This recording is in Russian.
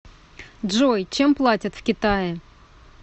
джой чем платят в китае